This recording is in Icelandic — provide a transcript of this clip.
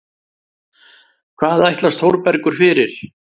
Hvað ætlast Þórbergur fyrir?